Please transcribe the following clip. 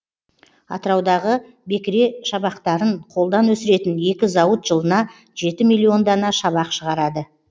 атыраудағы бекіре шабақтарын қолдан өсіретін екі зауыт жылына жеті миллион дана шабақ шығарады